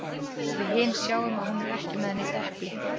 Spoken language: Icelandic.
Við hin sjáum að hún er ekki með neitt epli.